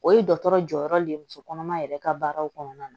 O ye dɔgɔtɔrɔ jɔyɔrɔ de ye musokɔnɔma yɛrɛ ka baaraw kɔnɔna na